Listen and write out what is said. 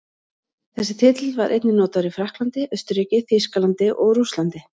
Þessi titill var einnig notaður í Frakklandi, Austurríki, Þýskalandi og Rússlandi.